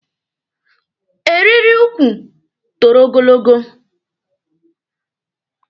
Eriri ukwu toro ogologo.